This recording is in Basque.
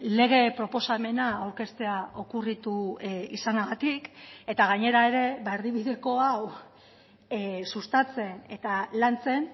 lege proposamena aurkeztea okurritu izanagatik eta gainera ere erdibideko hau sustatzen eta lantzen